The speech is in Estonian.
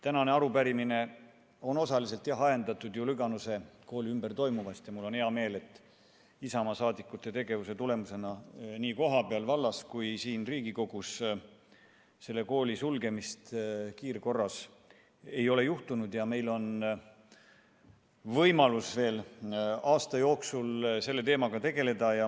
Tänane arupärimine on osaliselt jah ajendatud Lüganuse kooli ümber toimuvast ning mul on hea meel, et Isamaa liikmete tegevuse tulemusena nii vallas kohapeal kui ka siin Riigikogus ei ole selle kooli kiirkorras sulgemist juhtunud ja meil on võimalus veel aasta jooksul selle teemaga tegeleda.